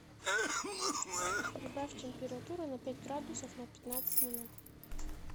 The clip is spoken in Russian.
прибавь температуру на пять градусов на пятнадцать минут